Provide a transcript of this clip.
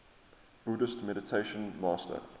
buddhist meditation master